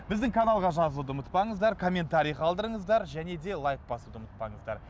біздің каналға жазылуды ұмытпаңыздар комментарий қалдырыңыздар және де лайк басуды ұмытпаңыздар